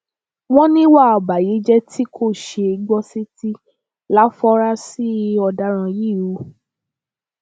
wọn níwà ọbàyéjẹ tí kò ṣeé gbọ sétí láforasí ọdaràn yìí hù